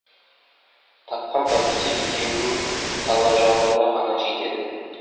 тапқан табысы екеуінің талғажауына ғана жетеді